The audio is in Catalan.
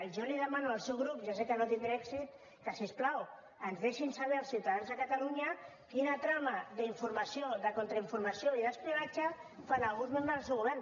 jo li demano al seu grup i ja sé que no tindré èxit que si us plau ens deixin saber als ciutadans de catalunya quina trama d’informació de contrainformació i d’espionatge fan alguns membres del seu govern